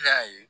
Ne y'a ye